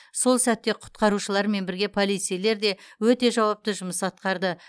сол сәтте құтқарушылармен бірге полицейлер де өте жауапты жұмыс атқарды